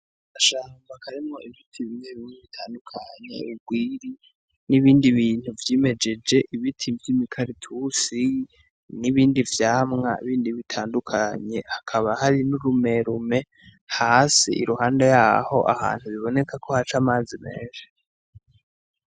Agashamba karimwo ibiti bimwe bimwe bitandukanye urwiri n'ibindi bintu vy'imejeje ibiti vy'imikaratusi n'ibindi vyamwa bindi bitandukanye hakaba hari n'urumerume hasi iruhande ahantu biboneka ko haca amazi menshi